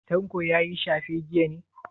Tanko ya yi shafe jiya ne?